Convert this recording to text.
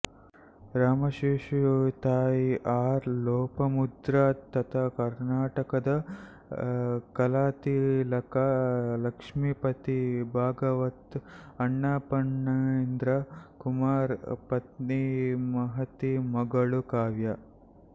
ರಾಮಶೇಷು ತಾಯಿ ಆರ್ ಲೋಪಮುದ್ರಾ ತಾತ ಕರ್ನಾಟಕದ ಕಲಾತಿಲಕ ಲಕ್ಷ್ಮಿಪತಿ ಭಾಗವತರ್ ಅಣ್ಣಫಣೇಂದ್ರ ಕುಮಾರ್ ಪತ್ನಿಮಹತಿ ಮಗಳು ಕಾವ್ಯ